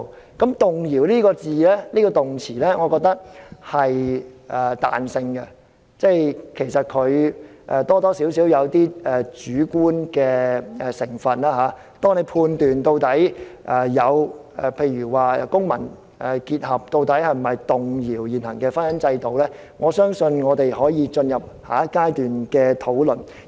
我覺得"動搖"這個動詞是有彈性的，多少帶點主觀的成分，關於判斷民事結合是否屬於動搖現行的婚姻制度，我相信我們可以進入下一階段的討論。